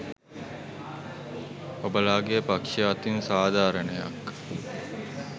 ඔබලාගේ පක්ෂය අතින් සාධාරණයක්